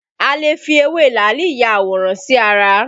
A lè fi ewé làálì ya àwòrán sí ara